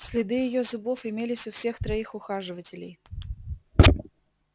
следы её зубов имелись у всех троих ухаживателей